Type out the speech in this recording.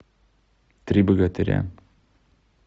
три богатыря